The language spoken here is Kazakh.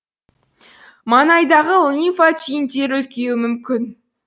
маңайдағы лимфа түйіндері үлкеюі мүмкін